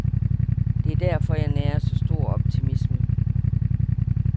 Det er derfor, jeg nærer så stor optimisme.